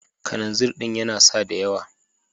Kananzir din yana sada yawa.